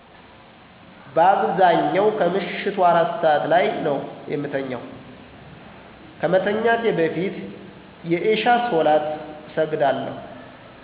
በአብዛኛው ከምሸቱ 4 ሰዐት ላይ ነው የምተኛው። ከመተኛቴ በፊት የኢሻ ሶላት እሰግዳለሁ።